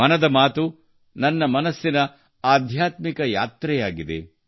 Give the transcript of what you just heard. ಮನದ ಮಾತು ನನ್ನ ಮನಸ್ಸಿನ ಆಧ್ಯಾತ್ಮಿಕ ಯಾತ್ರೆಯಾಗಿದೆ